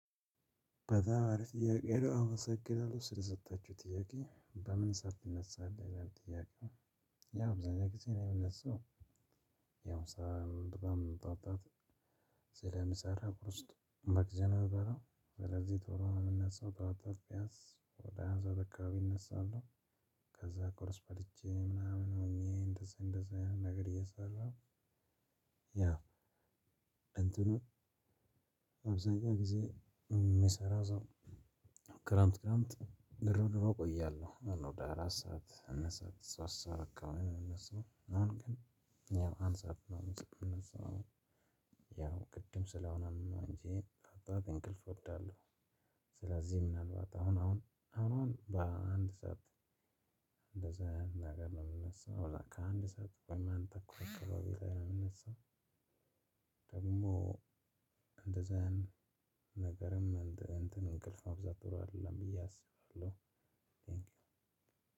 በጣም አሪፍ ጥያቄ ነው አመሰግናለሁ ስለሰጣቹኝ ጥያቄ በምን ሰዓት ትነሳለህ? ይላል ጥያቄው። ያው አብዛኛውን ጊዜ እኔ የምነሳው። ያው ስራም በጣም ጠዋት ጠዋት ስለምሰራ ቁርስ በግዜ ነው የምበላው። ስለዚህ ቶሎ ነው የምነሳው ጠዋት ጠዋት ቢያንስ ወደ አስራ አንድ ሰዓት አካባቢ እነሳለሁ። ከዛ ቁርስ በልቼ ምናምን ሆኜ እንደዚህ እንደዚህ አይነት ነገር እየሰራሁ። ያው ለእንትኑ አብዛኛው ጊዜ የሚሰራ ሰው። ክረምት ክረምት ድሮ ድሮ ቆያለሁ ወደ አራት ሰዓት አምስት ሰዓት ሶስት ሰዓት አካባቢ ነው የምነሳው። አሁን ግን ያው ቅድም ስለሆነ ነው እንጂ የጠዋት እንቅልፍ እወዳለሁ። ስለዚህ ምናልባት አሁን አሁን አሁን በአንድ ሰዓት እንደዛ አይነት ነገር ነው የምነሳው። በቃ ከአንድ ሰዓት ወይ አንድ ተኩል አካባቢ ላይ ነው የምነሳው። ደግሞ እንደዛ ነገርም እንትን እንቅልፍ ማብዛት ጥሩ አይደለም ብዬ አስባለሁ።